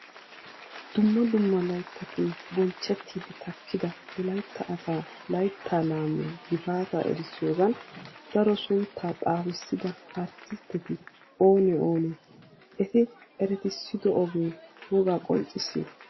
Dumma dumma layttatun bonchchettiiddi takkida wolaytta asaa layttaa laamiya gifaataa erissiyogan daro sunttaa xaafissida arttistteti oonee oonee? Eti eretissido ogee wogaa qonccissii?